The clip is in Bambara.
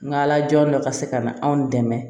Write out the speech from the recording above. N ka ala jɔ ka se ka na anw dɛmɛ